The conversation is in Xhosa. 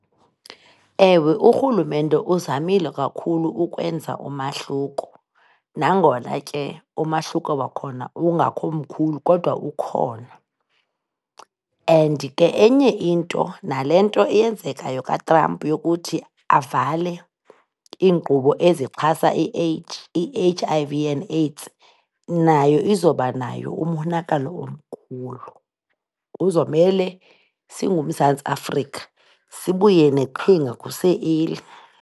Ewe, urhulumente uzamile kakhulu ukwenza umahluko nangona ke umahluko wakhona ungakho mkhulu kodwa ukhona and ke enye into, nale nto iyenzekayo kaTrump yokuthi avale iinkqubo ezixhasa i-H, i-H_I_V i and AIDS, nayo izobanayo umonakalo omkhulu, kuzomele singuMzantsi Afrika sibuye neqhinga kuse-early.